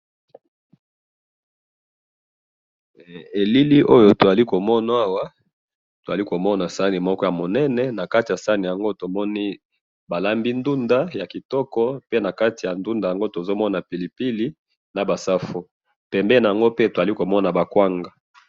he elili oyo tozali komona awa tozali komomona sahani moko ya munene nakati ya sahani yango tomoni balambi ndunda naba safu na pilipili pembeni nayango tozomona kwanga.